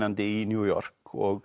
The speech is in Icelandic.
í New York og